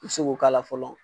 I bɛ se k'o k'a la fɔlɔ